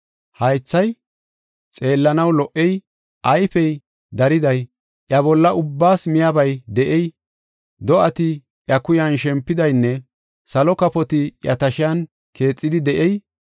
haythay xeellanaw lo77ey, ayfey dariday, iya bolla ubbaas miyabay de7ey, do7ati iya kuyan shempidaynne salo kafoti iya tashiyan keexidi de7ey,